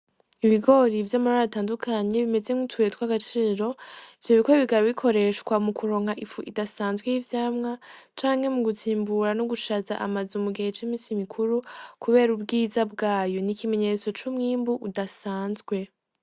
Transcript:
Ibigori vy'amabara atandukanye bimeze nk'utubuye twagaciro ivyo bigori bikaba bikoreshwa mukuronka ifu idasanzwe y'ivyamwa canke mugutsimbura n'ugushaza amazu mugihe c'iminsi mikuru kubera ubwiza bwayo , n'ikimenyetso c'umwimbu udasanzwe.